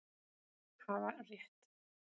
Hafa rétt